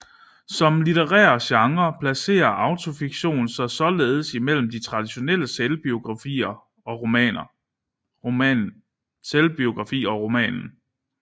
Som litterær genre placerer autofiktion sig således imellem den traditionelle selvbiografi og romanen